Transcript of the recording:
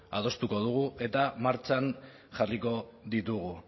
adostuko dugu eta martxan jarriko ditugu